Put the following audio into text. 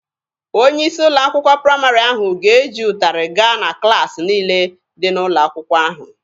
Onye isi ụlọ akwụkwọ praịmarị ahụ ga-eji ụtarị gaa na klaasị niile dị n'ụlọ akwụkwọ ahụ.